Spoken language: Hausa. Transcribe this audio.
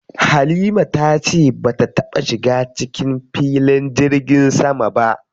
Halima ta ce bata taɓa shiga cikin filin jirgin sama ba.